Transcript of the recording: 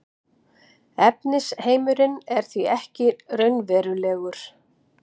efnisheimurinn er því ekki raunverulegur